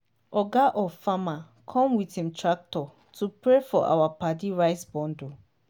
oga of farmer come with im tractor to pray for our paddy rice bundle.